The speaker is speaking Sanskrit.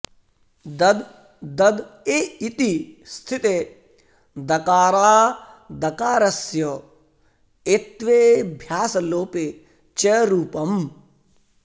दध् दध् ए इति स्थिते दकारादकारस्य एत्त्वेऽभ्यासलोपे च रूपम्